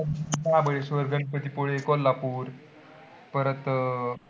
महाबळेश्वर, गणपतीपुळे, कोल्हापूर परत अं